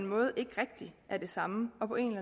måde ikke rigtig er det samme og på en